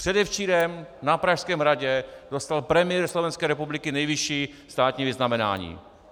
Předevčírem na Pražském hradě dostal premiér Slovenské republiky nejvyšší státní vyznamenání.